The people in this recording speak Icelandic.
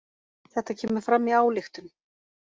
Þetta kemur fram í ályktun